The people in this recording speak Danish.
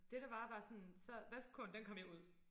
Det der var var sådan så vasketøjskurven den kom jo ud